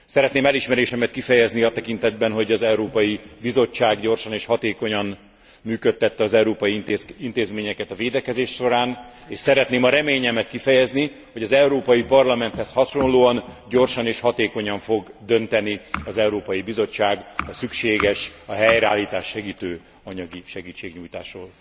Szeretném elismerésemet kifejezni a tekintetben, hogy az Európai Bizottság gyorsan és hatékonyan működtette az európai intézményeket a védekezés során, és szeretném a reményemet kifejezni, hogy az Európai Parlamenthez hasonlóan gyorsan és hatékonyan fog dönteni az Európai Bizottság a szükséges, a helyreállítást segítő anyagi segítségnyújtásról.